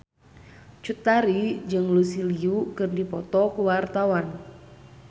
Cut Tari jeung Lucy Liu keur dipoto ku wartawan